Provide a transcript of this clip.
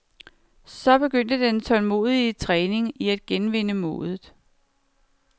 Så begyndte den tålmodige træning i at genvinde modet.